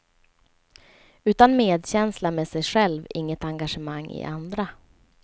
Utan medkänsla med sig själv inget engagemang i andra.